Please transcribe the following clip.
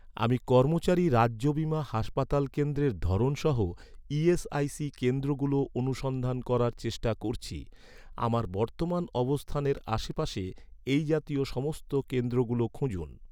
আমি কর্মচারী রাজ্য বীমা হাসপাতাল কেন্দ্রের ধরন সহ ই.এস.আই.সি কেন্দ্রগুলো অনুসন্ধান করার চেষ্টা করছি, আমার বর্তমান অবস্থানের আশেপাশে এই জাতীয় সমস্ত কেন্দ্রগুলো খুঁজুন